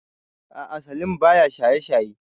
A'a salim baya shaye shaye